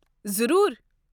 ضروٗر۔